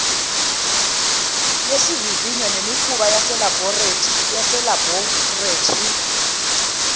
yesivivinyo nemikhuba yaselabholethi